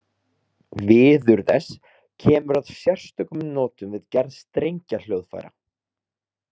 Viður þess kemur að sérstökum notum við gerð strengjahljóðfæra.